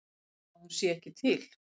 Að hún sé ekki til.